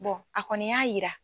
a kɔni y'a yira.